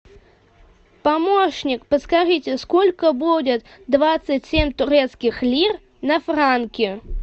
помощник подскажите сколько будет двадцать семь турецких лир на франки